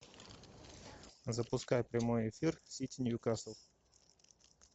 запускай прямой эфир сити ньюкасл